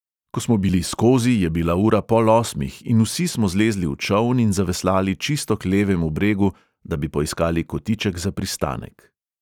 Ko smo bili skozi, je bila ura pol osmih, in vsi smo zlezli v čoln in zaveslali čisto k levemu bregu, da bi poiskali kotiček za pristanek.